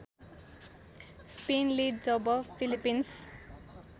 स्पेनले जब फिलिपिन्स